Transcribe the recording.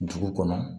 Dugu kɔnɔ